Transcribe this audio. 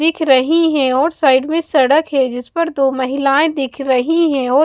दिख रही हैं और साइड में सड़क है जिस पर दो महिलाएं दिख रही हैं और--